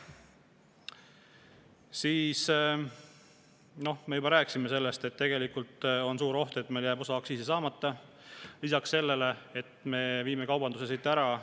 Siis me juba rääkisime sellest, et tegelikult on suur oht, et meil jääb osa aktsiisi saamata, lisaks sellele, et me viime kaubanduse siit ära.